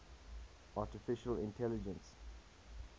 artificial intelligence